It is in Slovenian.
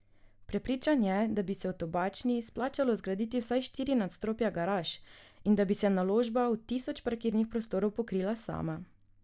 Prepričan je, da bi se v Tobačni splačalo zgraditi vsaj štiri nadstropja garaž in da bi se naložba v tisoč parkirnih prostorov pokrila sama.